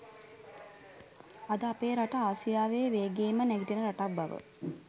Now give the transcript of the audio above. අද අපේ රට ආසියාවේ වේගයෙන්ම නැගිටින රටක් බව